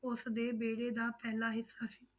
ਉਸਦੇ ਦੇ ਬੇੜੇ ਦਾ ਪਹਿਲਾ ਹਿੱਸਾ ਸੀ।